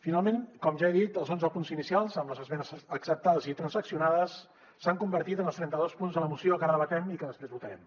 finalment com ja he dit els onze punts inicials amb les esmenes acceptades i transaccionades s’han conver·tit en els trenta·dos punts de la moció que ara debatem i que després votarem